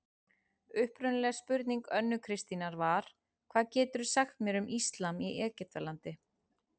Upprunaleg spurning Önnu Kristínar var: Hvað geturðu sagt mér um íslam í Egyptalandi?